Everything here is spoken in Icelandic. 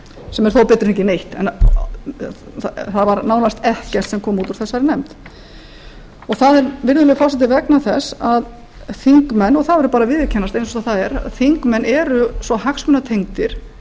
sem er þó betra en ekki neitt en það var nánast ekkert sem kom út úr þessari nefnd það er virðulegi forseti vegna þess að þingmenn og það verður að viðurkennast eins og það er þingmenn eru svo hagsmunatengdir